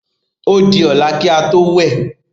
Ó di ọ̀la ki a tó wẹ̀.